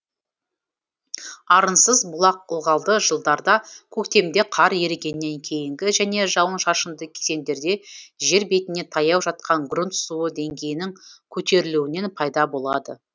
арынсыз бұлақ ылғалды жылдарда көктемде қар ерігеннен кейінгі және жауын шашынды кезеңдерде жер бетіне таяу жатқан грунт суы деңгейінің көтерілуінен пайда болады